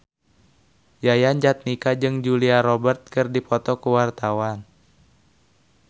Yayan Jatnika jeung Julia Robert keur dipoto ku wartawan